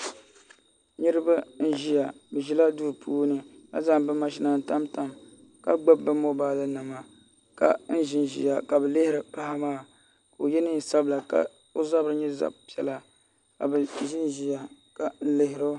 Niraba n ʒiya bi ʒila duu puuni ka zaŋ bi mashina n tam tam ka gbubi bi mobaali nima ka ʒinʒiya ka bi lihiri paɣa maa ka o yɛ neen sabila ka o zabiri nyɛ zaɣ piɛla ka bi ʒinʒiya n lihiri o